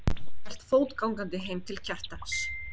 og hélt fótgangandi heim til Kjartans.